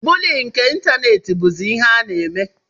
Buuli nke ịntanetị bụzi ihe a na-eme.